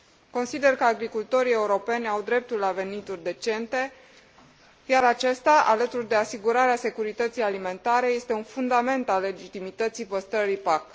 Consider că agricultorii europeni au dreptul la venituri decente, iar acestea, alături de asigurarea securității alimentare, reprezintă un fundament al legitimității păstrării PAC.